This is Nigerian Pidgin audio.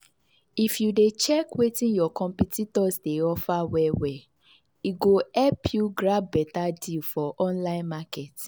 if you dey check wetin your competitors dey offer well-well e go help you grab beta deal for online market.